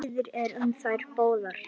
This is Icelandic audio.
Friður er um þær báðar.